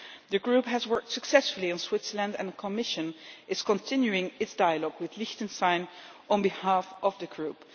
The group has worked successfully in Switzerland and the Commission is continuing its dialogue with Liechtenstein on behalf of the group.